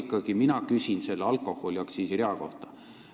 Ma küsin ikkagi selle alkoholiaktsiisi rea kohta.